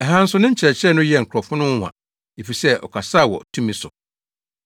Ɛha nso ne nkyerɛkyerɛ no yɛɛ nkurɔfo no nwonwa efisɛ ɔkasaa wɔ tumi so.